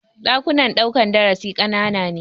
Ɗakunan ɗaukan darasin ƙanana ne.